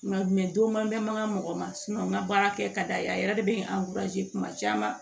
Nka don ma bɛ mangan mɔgɔ ma n ka baara kɛ ka d'a ye a yɛrɛ de bɛ kuma caman